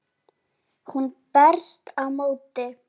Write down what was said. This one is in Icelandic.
Hún berst á móti.